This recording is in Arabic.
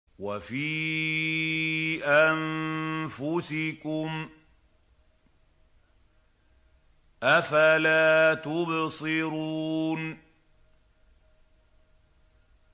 وَفِي أَنفُسِكُمْ ۚ أَفَلَا تُبْصِرُونَ